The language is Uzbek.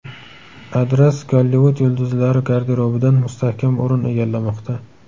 Adras Gollivud yulduzlari garderobidan mustahkam o‘rin egallamoqda.